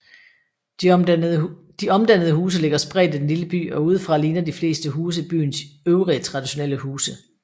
De omdannede huse ligger spredt i den lille by og udefra ligner de fleste huse byens øvrige traditionelle huse